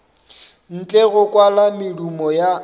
ntle go kwala medumo ya